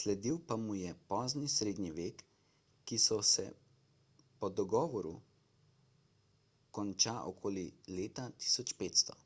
sledil pa mu je pozni srednji vek ki se po dogovoru konča okoli leta 1500